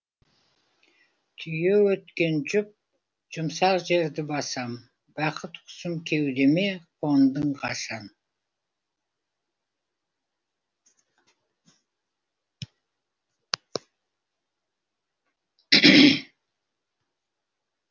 түйе өткен жұп жұмсақ жерді басам бақыт құсым кеудеме қондың қашан